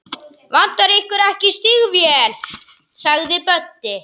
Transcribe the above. Vantar ykkur ekki stígvél? spurði Böddi.